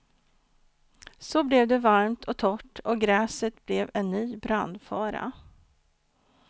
Så blev det varmt och torrt och gräset blev en ny brandfara.